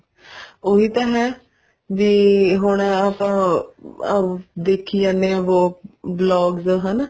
ਉਹੀ ਤਾਂ ਹੈ ਵੀ ਹੁਣ ਉਹ ਅਮ ਦੇਖੀ ਜਾਣੇ ਆ ਉਹ vlogs ਹਨਾ